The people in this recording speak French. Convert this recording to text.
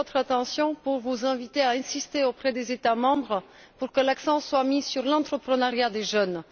J'attire votre attention et vous invite à insister auprès des États membres pour que l'accent soit mis sur l'entreprenariat des jeunes.